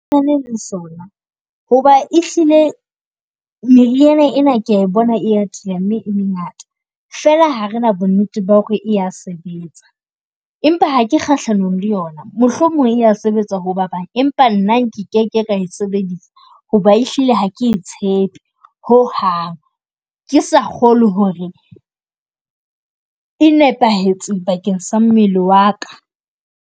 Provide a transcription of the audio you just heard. Nna le sona hoba e hlile meriana ena kea e bona e atile mme e mengata. Fela ha re na bonnete ba hore ea sebetsa, empa ha ke kgahlanong le yona mohlomong ea sebetsa ho ba bang. Empa nna nkeke ka e sebedisa hoba e hlile ha ke tshepe ho hang. Ke sa kgolwe hore e nepahetseng bakeng sa mmele wa ka.